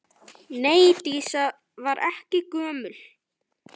Nei, Dísa var ekki gömul.